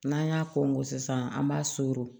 N'an y'a kɔnko sisan an b'a